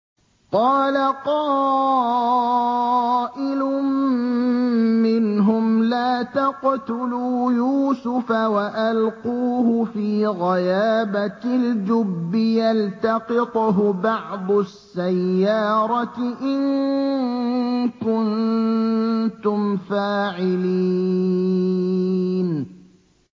قَالَ قَائِلٌ مِّنْهُمْ لَا تَقْتُلُوا يُوسُفَ وَأَلْقُوهُ فِي غَيَابَتِ الْجُبِّ يَلْتَقِطْهُ بَعْضُ السَّيَّارَةِ إِن كُنتُمْ فَاعِلِينَ